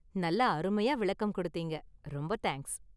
நல்லா அருமையா​ விளக்கம் கொடுத்தீங்க, ரொம்ப தேங்க்ஸ்.